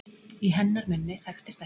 Í hennar munni þekktist ekki